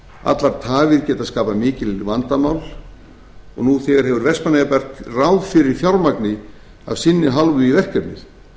allar tafir geta skapað mikið vandamál og nú þegar hefur vestmannaeyjabær ráð fyrir fjármagni af sinni hálfu í verkefnið